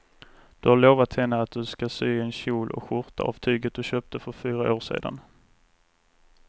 Du har lovat henne att du ska sy en kjol och skjorta av tyget du köpte för fyra år sedan.